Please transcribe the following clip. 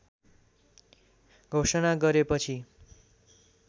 घोषणा गरेपछि